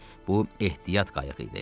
Bu ehtiyat qayığı idi.